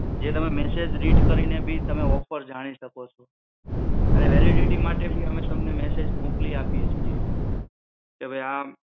જે તમે message read કરી ને બી તમે ઓફર જાણી શકો છો અને વેલિડિટી માટે બી અમે તમને મેસેજ મોકલી આપીએ છીએ કે ભઈ આમ